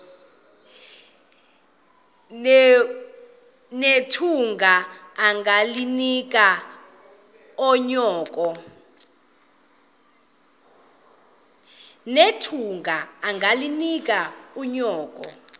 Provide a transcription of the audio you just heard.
nethunga ungalinik unyoko